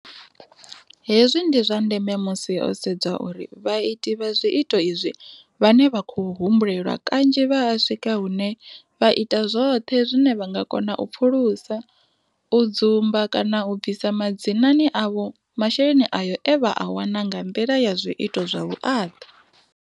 Hezwi ndi zwa ndeme musi ho sedzwa uri vhaiti vha zwiito izwi vhane vha khou humbulelwa kanzhi vha a swika hune vha ita zwoṱhe zwine vha nga kona u pfulusa, u dzumba kana u bvisa madzinani avho masheleni ayo e vha a wana nga nḓila ya zwiito zwa vhuaḓa.